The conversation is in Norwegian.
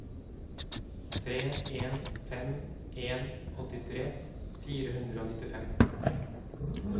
tre en fem en åttitre fire hundre og nittifem